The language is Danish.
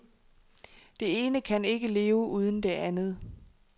Det ene kan ikke leve uden det andet.